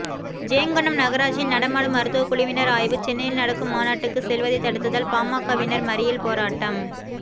ஜெயங்கொண்டம் நகராட்சியில் நடமாடும் மருத்துவ குழுவினர் ஆய்வு சென்னையில் நடக்கும் மாநாட்டுக்கு செல்வதை தடுத்ததால் பாமகவினர் மறியல் போராட்டம்